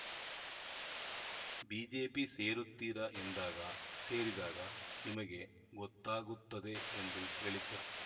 BJP ಸೇರುತ್ತೀರಾ ಎಂದಾಗ ಸೇರಿದಾಗ ನಿಮಗೇ ಗೊತ್ತಾಗುತ್ತದೆ ಎಂದು ಹೇಳಿದ್ದರು